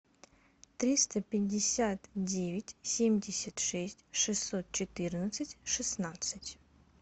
триста пятьдесят девять семьдесят шесть шестьсот четырнадцать шестнадцать